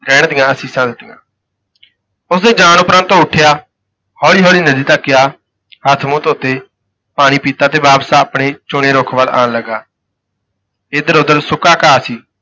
ਰਹਿਣ ਦੀਆਨ ਅਸੀਸਾਂ ਦਿੱਤੀਆਂ। ਉਸ ਦੇ ਜਾਣ ਉਪਰੰਤ ਉਹ ਉਠਿਆ, ਹੌਲੀ-ਹੌਲੀ ਨਦੀ ਤਕ ਗਿਆ, ਹੱਥ ਮੂੰਹ ਧੋਤੇ, ਪਾਣੀ ਪੀਤਾ ਤੇ ਵਾਪਸ ਆਪਣੇ ਚੁਣੇ ਰੁੱਖ ਵੱਲ ਆਣ ਲੱਗਾ ਇਧਰ ਉਧਰ ਸੁੱਕਾ ਘਾਹ ਸੀ।